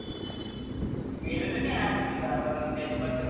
मी गेलेलो नाही आजुन तीथं मग आता त्याच्याबद्दल